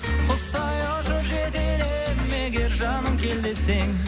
құстай ұшып жетер едім егер жаным кел десең